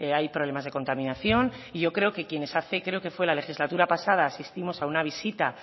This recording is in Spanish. hay problemas de contaminación y yo creo que quienes hace creo que fue la legislatura pasada asistimos a una visita